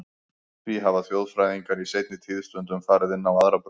Því hafa þjóðfræðingar í seinni tíð stundum farið inn á aðra braut.